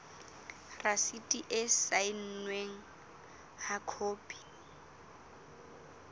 rasiti e saennweng ha khopi